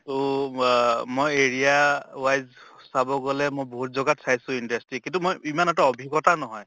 তহ ৱা মই area wise চাব গʼলে মই বহুত জ্গাত চাইছো industry কিন্তু মই ইমান এটা অভিজ্ঞ্তা নহয়